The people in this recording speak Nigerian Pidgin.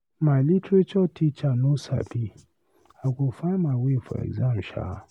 My literature teacher no Sabi, I go find my way for exam hall shaa.